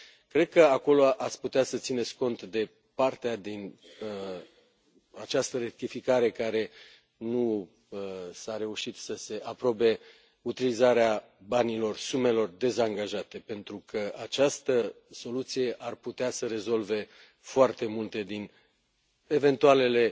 Cred că acolo ați putea să țineți cont de partea din această rectificare în care nu s a reușit să se aprobe utilizarea banilor, a sumelor dezangajate, pentru că această soluție ar putea să rezolve foarte multe din eventualele